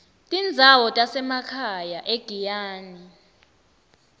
tindzawo tasemakhaya egiyani